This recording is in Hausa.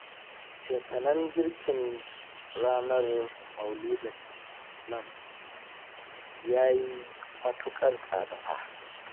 Cefanen girkin ranar maulidin nan ya yi matuƙar tsada fa